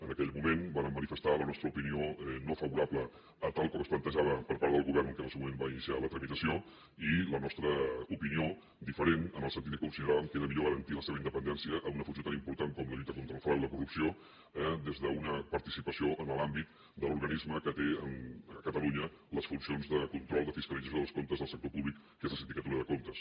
en aquell moment vàrem manifestar la nostra opinió no favorable a tal com es plantejava per part del govern que en el seu moment va iniciar la tramitació i la nostra opinió diferent en el sentit que consideràvem que era millor garantir la seva independència en una funció tan important com la lluita contra el frau i la corrupció eh des d’una participació en l’àmbit de l’organisme que té a catalunya les funcions de control de fiscalització dels comptes del sector públic que és la sindicatura de comptes